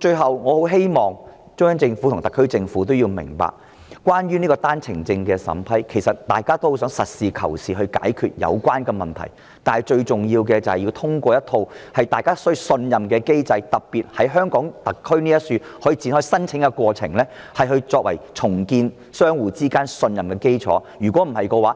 最後，我很希望中央政府和特區政府明白，關於單程證的審批，其實大家都很想實事求是地解決有關問題，但最重要的是，要有一個大家可以信任的機制——特別是容許單程證的申請過程在香港特區展開——作為重建香港與內地相互信任的基礎，否